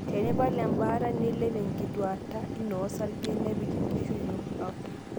Tinipal embaata, neilep enkuatata ino osarge nepik enkishui ino bata.